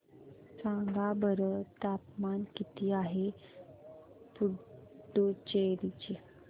सांगा बरं तापमान किती आहे पुडुचेरी चे